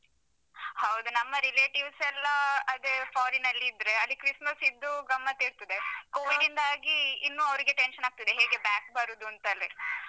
ಹೌದು ನಮ್ಮ relatives ಯೆಲ್ಲಾ ಅದೇ foreign ನಲ್ಲಿದ್ರೆ ಅಲ್ಲಿ Christmas ಇದ್ದು ಗಮ್ಮತ್ತ್ ಇರ್ತದೆ. covid ಯಿಂದಾಗಿ covid ಯಿಂದಾಗಿ ಇನ್ನೂ ಅವ್ರಿಗೆ tension ಆಗ್ತದೆ, ಹೇಗೆ back ಬರುದಂತಲೇ.